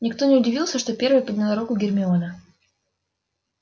никто не удивился что первой подняла руку гермиона